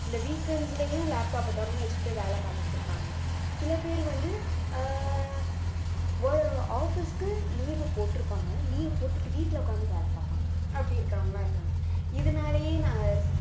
இந்த weekends லயும் laptop அ தொறந்து வச்சுட்டு வேலை பார்த்துக்கிட்டு இருப்பாங்க சில பேர் வந்து அஹ் office க்கு leave போட்டிருப்பாங்க leave போட்டுட்டு வீட்டுல உட்கார்ந்து வேலை பார்ப்பாங்க அப்படி இருக்கிறவங்களா இருக்காங்க இதனாலேயே நாங்க